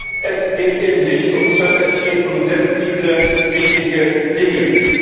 Denn es geht eben nicht um Zölle, es geht um sensible wichtige Dinge.